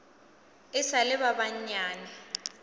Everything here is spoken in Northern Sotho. e sa le ba banyane